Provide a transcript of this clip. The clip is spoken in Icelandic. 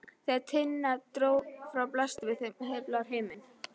Þegar Tinna dró frá blasti við þeim heiðblár himinn.